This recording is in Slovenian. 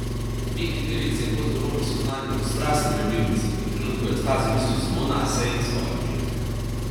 Biki, device in kozorogi so znani kot strastni ljubimci, ki v trenutku ekstaze mislijo samo nase in svoje užitke.